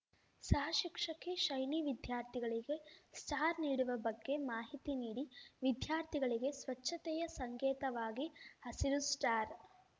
ಸಹಶಿಕ್ಷಕಿ ಶೈನಿ ವಿದ್ಯಾರ್ಥಿಗಳಿಗೆ ಸ್ಟಾರ್‌ ನೀಡುವ ಬಗ್ಗೆ ಮಾಹಿತಿ ನೀಡಿ ವಿದ್ಯಾರ್ಥಿಗಳಿಗೆ ಸ್ವಚ್ಛತೆಯ ಸಂಕೇತವಾಗಿ ಹಸಿರು ಸ್ಟಾರ್‌